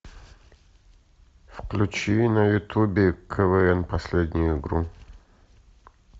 включи на ютубе квн последнюю игру